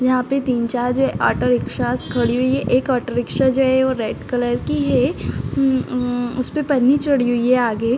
यहाँ पे तीन-चार जो है ऑटो रिक्शा खड़ी हुई हैं। एक ऑटो रिक्शा जो है वो रेड कलर की है उम्म उम्म उसपे पन्नी चढ़ी हुई है आगे।